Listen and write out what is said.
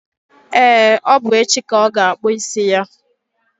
e, ọ bụ echi ka ọ ga-akpụ isi ya.